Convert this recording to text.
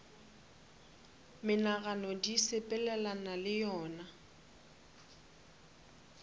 menagano di sepelelana le yona